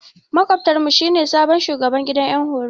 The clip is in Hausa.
Makwabtar mu shi ne sabon shugaban gidan horo.